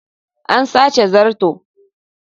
An sace zarto.